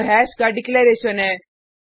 यह हैश का डिक्लेरैशन है